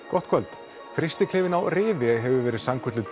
gott kvöld á Rifi hefur verið sannkölluð